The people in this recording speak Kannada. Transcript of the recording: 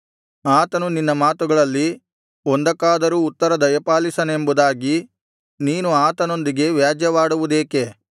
ಆತನು ನಿನ್ನ ಮಾತುಗಳಲ್ಲಿ ಒಂದಕ್ಕಾದರೂ ಉತ್ತರ ದಯಪಾಲಿಸನೆಂಬುದಾಗಿ ನೀನು ಆತನೊಂದಿಗೆ ವ್ಯಾಜ್ಯವಾಡುವುದೇಕೆ